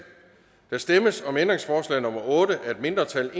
der stemmes om ændringsforslag nummer otte af et mindretal